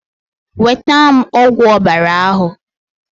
Nweta m ogwu ọbara ahụ!